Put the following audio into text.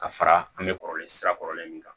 Ka fara an bɛ kɔrɔlen sira kɔrɔlen min kan